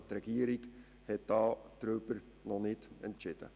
Aber die Regierung hat darüber noch nicht entschieden.